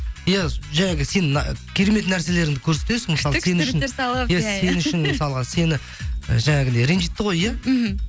иә жаңағы сен ы керемет нәрселеріңді көрсетесің күшті күшті сурет салып иә иә иә сен үшін мысалға сені жаңағыдай ренжітті ғой иә мхм